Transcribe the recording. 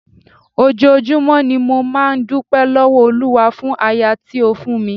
Ojoojúmọ́ ni mo máa ń dúpẹ́ lọ́wọ́ Olúwa fún aya tí ó fún mi.